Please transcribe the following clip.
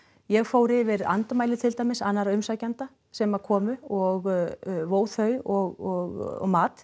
ég fór yfir andmæli annarra umsækjenda sem komu og vó þau og mat